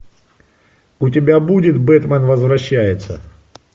у тебя будет бэтмен возвращается